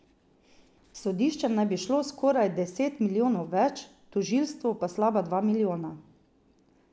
Sodiščem naj bi šlo skoraj deset milijonov več, tožilstvu pa slaba dva milijona.